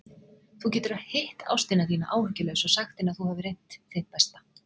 Þú getur hitt ástina þína áhyggjulaus og sagt henni að þú hafir reynt þitt besta.